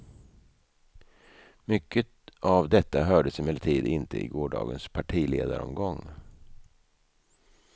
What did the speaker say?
Mycket av detta hördes emellertid inte i gårdagens partiledaromgång.